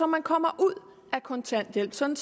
man kommer ud af kontanthjælpen sådan